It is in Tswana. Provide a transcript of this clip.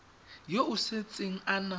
yo o setseng a na